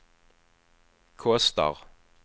kostar